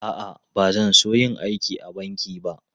A'a, ba zan so yin aiki a banki ba.